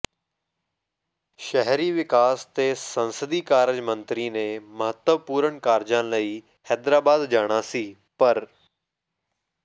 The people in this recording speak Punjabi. ਸ਼ਹਿਰੀ ਵਿਕਾਸ ਤੇ ਸੰਸਦੀ ਕਾਰਜ ਮੰਤਰੀ ਨੇ ਮਹੱਤਵਪੂਰਨ ਕਾਰਜਾਂ ਲਈ ਹੈਦਰਾਬਾਦ ਜਾਣਾ ਸੀ ਪਰ